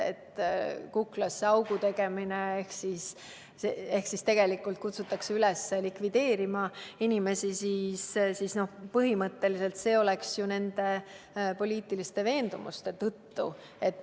Kuklasse augu tegemine – tegelikult kutsutakse ju üles likvideerima inimesi põhimõtteliselt nende poliitiliste veendumuste tõttu.